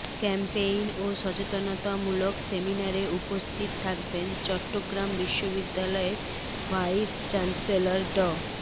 campaign ও সচেতনতামূলক সেমিনারে উপস্থিত থাকবেন চট্টগ্রাম বিশ্ববিদ্যালয়ের ভাইস চ্যান্সেলর ড